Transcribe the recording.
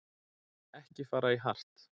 Ekki fara í hart